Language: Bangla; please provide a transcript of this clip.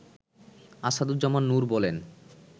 আসাদুজ্জামান নুর বলেন